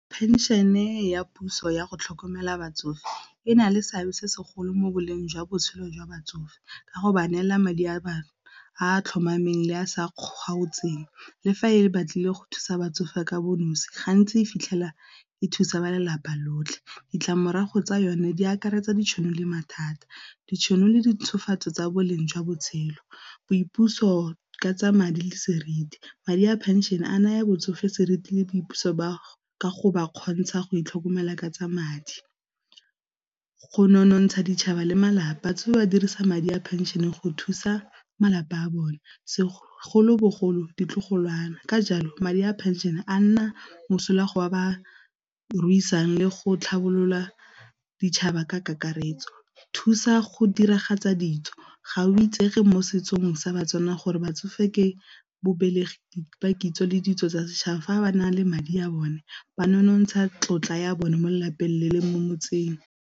Pension-e ya puso ya go tlhokomela batsofe e na le seabe se segolo mo boleng jwa botshelo jwa batsofe ka go ba neela madi a bangwe a tlhomameng le a sa kgaotseng le fa e batlile go thusa batsofe ka bo nosi, gantsi fitlhela e thusa ba lelapa lotlhe. Ditlamorago tsa yone di akaretsa ditšhono le mathata, ditšhono le dintshofatso tsa boleng jwa botshelo, boipuso ka tsa madi le seriti, madi a pension a naya botsofe seriti le boipuso ba ba kgontsha go itlhokomela ka tsa madi. Go nonontsha ditšhaba le malapa tse ba dirisa madi a pension-e go thusa malapa a bone segolobogolo ditlogolwane ka jalo madi a phenšene a nna mosola go ba ba ruisang le go tlhabolola ditšhaba ka kakaretso, thusa go diragatsa ditso ga o itsege mo setsong sa baTswana gore batsofe ke babelegi kitso le ditso tsa setšhaba, fa ba na le madi a bone ba nonontsha tlotla ya bone mo lelapeng le le mo motseng.